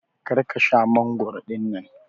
Kar ka Sha mangoro dinnan.